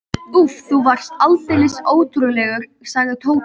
Úff, þú varst aldeilis ótrúlegur, sagði Tóti.